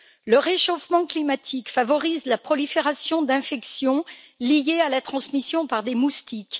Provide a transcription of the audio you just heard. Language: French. Le réchauffement climatique favorise la prolifération d'infections liées à la transmission par des moustiques.